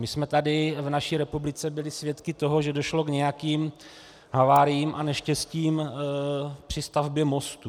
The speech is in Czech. My jsme tady v naší republice byli svědky toho, že došlo k nějakým haváriím a neštěstím při stavbě mostů.